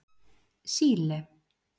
Síle